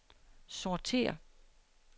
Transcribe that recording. sortér